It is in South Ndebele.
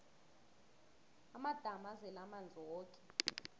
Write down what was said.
amadamu azele amanzi woke